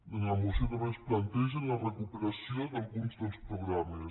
a la moció també es planteja la recuperació d’alguns dels programes